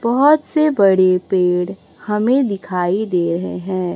बहोत से बड़े पेड़ हमें दिखाई दे रहे हैं।